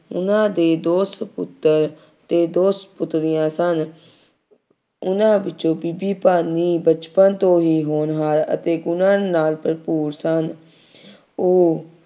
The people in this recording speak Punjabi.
ਉਹਨਾ ਦੇ ਦੋ ਸਪੁੱਤਰ ਅਤੇ ਦੋ ਸਪੁੱਤਰੀਆਂ ਸਨ। ਉਹਨਾ ਵਿੱਚੋਂ ਬੀਬੀ ਭਾਨੀ ਬਚਪਨ ਤੋਂ ਹੀ ਹੋਣਹਾਰ ਅਤੇ ਹੁਨਰ ਨਾਲ ਭਰਪੂਰ ਸਨ। ਉਹ